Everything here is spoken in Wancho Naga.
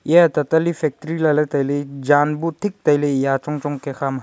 eya tata li factory lai lai tailey jan bu thik tailey eya chong chong kya khama.